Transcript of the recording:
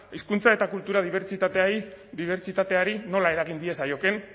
hizkuntza eta kultura dibertsitateari dibertsitateari nola eragin diezaiokeen